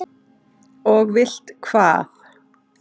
Og vilt hvað?